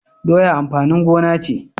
Doya amfanin gona ce